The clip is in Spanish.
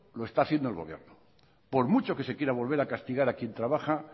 lo está haciendo el gobierno por mucho que se quiera volver a castigar a quien trabaja